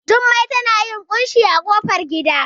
Jummai tana yin ƙunshi a ƙofar gida